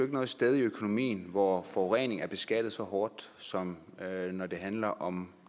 noget sted i økonomien hvor forurening er beskattet så hårdt som når det handler om